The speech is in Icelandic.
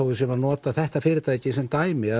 við séum að nota þetta fyrirtæki sem dæmi